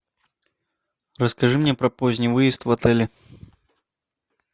расскажи мне про поздний выезд в отеле